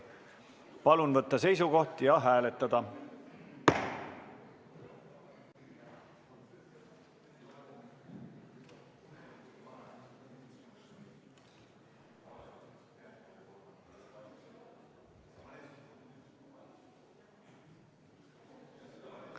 Palun võtta seisukoht ja hääletada!